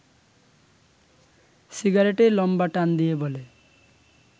সিগারেটে লম্বা টান দিয়ে বলে